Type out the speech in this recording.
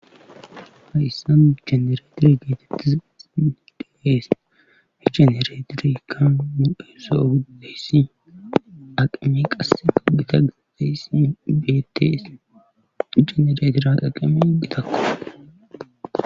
Hayyssan jenereetete geetettizaysi di'ees ha jenereetiriikkan nuesso ohuddeyssi aqami qasse gita gadeyssi beettes genereetiraa aqame gitakko.